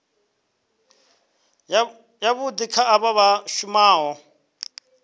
yavhui kha avho vha shumaho